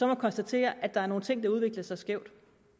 må konstatere at der er nogle ting der har udviklet sig skævt